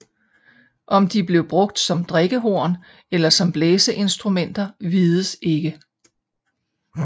Om de blev brugt som drikkehorn eller som blæseinstrumenter vides ikke